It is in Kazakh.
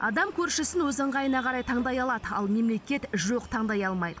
адам көршісін өз ыңғайына қарай таңдай алады ал мемлекет жоқ таңдай алмайды